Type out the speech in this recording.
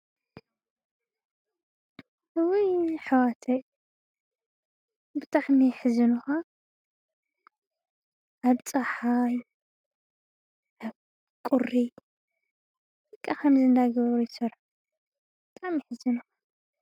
እወይ ኅዋተይ ብታኽሚ ሕዝንኻ ኣፀሓሕዝንኻቊሪ ቃ ኸም ዝንዳግበርይሶር ጣሚይ ሕዝንኻ።